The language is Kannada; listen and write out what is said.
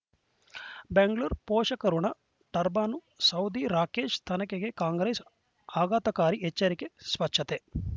ಬೆಂಗಳರು ಪೋಷಕಋಣ ಟರ್ಬನ್ ಸೌದಿ ರಾಕೇಶ್ ತನಿಖೆಗೆ ಕಾಂಗ್ರೆಸ್ ಆಘಾತಕಾರಿ ಎಚ್ಚರಿಕೆ ಸ್ವಚ್ಛತೆ